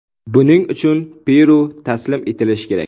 Buning uchun Peru taslim etilishi kerak.